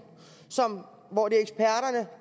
hvor det